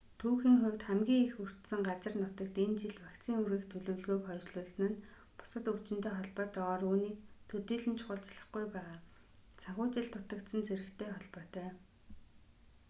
түүхийн хувьд хамгийн их өртсөн газар нутагт энэ жил вакцин хүргэх төлөвлөгөөг хойшлуулсан нь бусад өвчинтэй холбоотойгоор үүнийг төдийлөн чухалчлахгүй байгаа санхүүжилт дутагдсан зэрэгтэй холбоотой